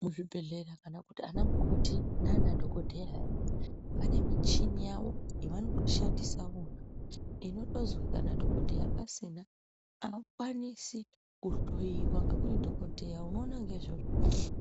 Muzvibhedhlera kana kuti ana mukoti nana dhokodheya ayaya vane michini yavo yavanoshandisa vona inotozwi kana dhokodheya asina aukwanisi kuhloiwa ngekuti dhokodheya unoona ngeizvozvo